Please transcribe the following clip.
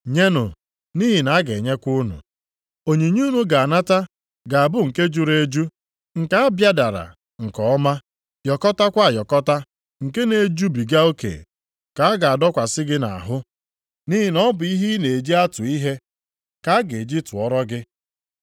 Nyenụ, nʼihi na a ga-enyekwa unu. Onyinye unu ga-anata ga-abụ nke juru eju, nke a bịadara nke ọma, yọkọtakwa ayọkọta nke na-ejubiga oke ka a ga-adọkwasị gị nʼahụ; nʼihi na ọ bụ ihe i na-eji atụ ihe ka a ga-eji tụọrọ gị.”